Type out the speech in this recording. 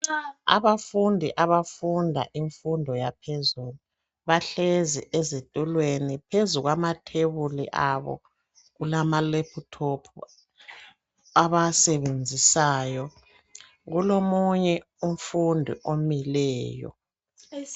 Abafundi abafunda imfundo yaphezulu bahlezi ezitulweni. Phezu kwamathebuli abo kulama laptop abawasebenzisayo. Kulomunye umfundi omileyo.